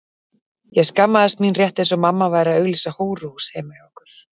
Ég skammaðist mín rétt eins og mamma væri að auglýsa hóruhús heima hjá okkur.